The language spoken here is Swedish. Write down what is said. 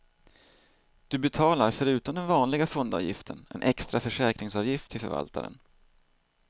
Du betalar förutom den vanliga fondavgiften en extra försäkringsavgift till förvaltaren.